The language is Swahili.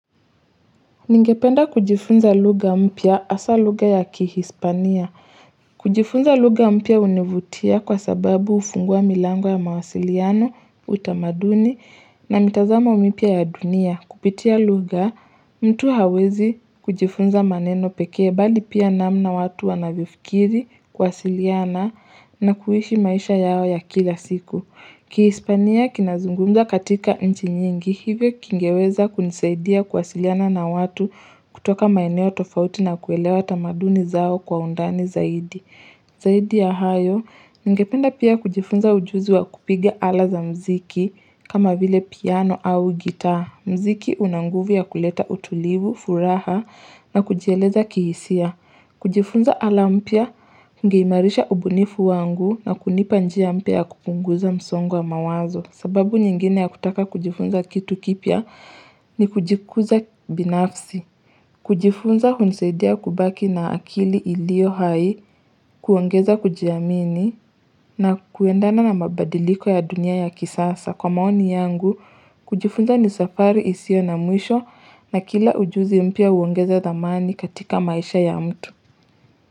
Ningependa kujifunza lugha mpya hasaa lugha ya kihispania. Kujifunza lugha mpya hunivutia kwa sababu hufungua milango ya mawasiliano, utamaduni na mitazamo mipya ya dunia. Kupitia lugha mtu hawezi kujifunza maneno pekee bali pia namna watu wanavyokiri kuwasiliana na kuishi maisha yao ya kila siku. Kihispania kinazungumza katika nchi nyingi hivyo kingeweza kunisaidia kuwasiliana na watu kutoka maeneo tofauti na kuelewa tamaduni zao kwa undani zaidi. Zaidi ya hayo, ningependa pia kujifunza ujuzi wa kupige ala za mziki kama vile piano au gita. Muziki unanguvu ya kuleta utulivu, furaha na kujieleza kihisia. Kujifunza ala mpya, ungeimarisha ubunifu wangu na kunipa njia mpya ya kupunguza msongo wa mawazo. Sababu nyingine ya kutaka kujifunza kitu kipya ni kujikuza binafsi. Kujifunza hunisaidia kubaki na akili iliohai, kuongeza kujiamini na kuendana na mabadiliko ya dunia ya kisasa. Kwa maoni yangu, kujifunza ni safari isio na mwisho na kila ujuzi mpya uongeza dhamani katika maisha ya mtu.